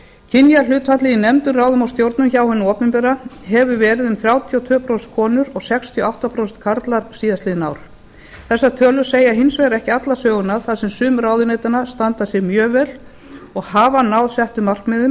kynjahlutfallið í nefndum ráðum og stjórnum hjá hinu opinbera hefur verið um þrjátíu og tvö prósent konur og sextíu og átta prósent karlar síðastliðið ár þessar tölur segja hins vegar ekki alla söguna þar sem sum ráðuneytanna standa sig mjög vel og hafa náð settum markmiðum